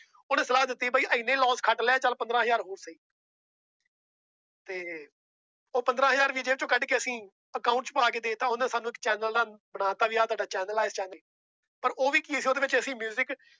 ਉਹਨੇ ਸਲਾਹ ਦਿੱਤੀ ਬਾਈ ਇੰਨੇ loss ਖੱਟ ਲੈ ਚੱਲ ਪੰਦਰਾਂ ਹਜ਼ਾਰ ਹੋਰ ਸਹੀ ਤੇ ਉਹ ਪੰਦਰਾਂ ਹਜ਼ਾਰ ਵੀ ਜੇਬ ਚੋਂ ਕੱਢ ਕੇ ਅਸੀਂ account ਚ ਪਾ ਕੇ ਦੇ ਦਿੱਤਾ ਉਹਨੇ ਸਾਨੂੰ ਇੱਕ ਚੈਨਲ ਦਾ ਬਣਾ ਦਿੱਤਾ ਵੀ ਆਹ ਤੁਹਾਡਾ ਚੈਨਲ ਆ ਪਰ ਉਹ ਵੀ ਕੀ ਸੀ ਉਹਦੇ ਵਿੱਚ ਅਸੀਂ music